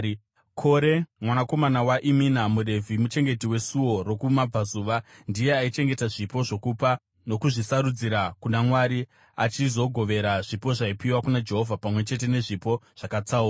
Kore mwanakomana waImina muRevhi, muchengeti weSuo rokumabvazuva, ndiye aichengeta zvipo zvokupa nokuzvisarudzira kuna Mwari achizogovera zvipo zvaipiwa kuna Jehovha pamwe chete nezvipo zvakatsaurwa.